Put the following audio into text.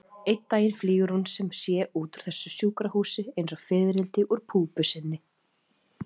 Einn daginn flýgur hún sem sé út úr þessu sjúkrahúsi einsog fiðrildi úr púpu sinni.